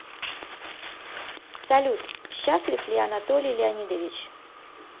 салют счастлив ли анатолий леонидович